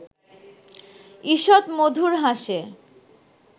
ঈষৎ মধুর হাসে